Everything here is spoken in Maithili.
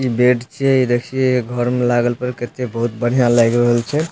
इ बेड छीए इ देखिए घर मे लागल पर कते बहुत बढ़िया लाएग रहल छै।